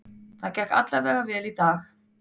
Það gekk alla vega vel í dag.